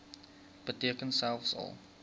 beteken selfs al